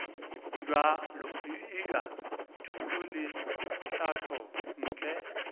bja thuto le tlhahlo ntle